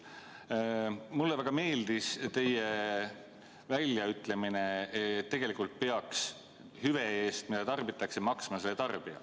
Mulle väga meeldis teie väljaütlemine, et tegelikult peaks hüve eest, mida tarbitakse, maksma selle tarbija.